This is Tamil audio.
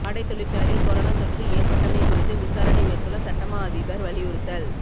ஆடைத் தொழிற்சாலையில் கொரோனா தொற்று ஏற்பட்டமை குறித்து விசாரணை மேற்கொள்ள சட்டமா அதிபர் அறிவுறுத்தல்